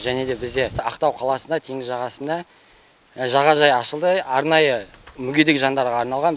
және де бізде ақтау қаласында теңіз жағасында жағажайы ашылды арнайы мүгедек жандарға арналған